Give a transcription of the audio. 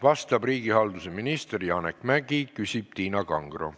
Vastab riigihalduse minister Janek Mäggi, küsib Tiina Kangro.